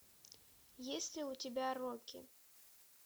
есть ли у тебя рокки